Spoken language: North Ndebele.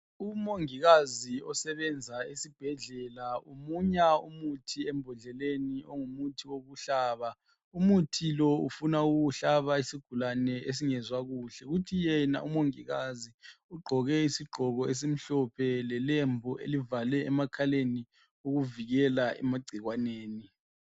Umongikazi osebenza esibhedlela umunya umuthi embodleleni ongumuthi wokuhlaba umuthi lowu ufuna ukuwuhlaba isigulani esingezwa kuhle kuthi yena umongikazi ugqoke isigqoko esimhlophe lelembu elivale emakhaleni ukuzivikela emagcikwaneni